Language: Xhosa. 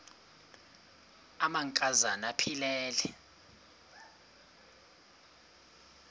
amanka zana aphilele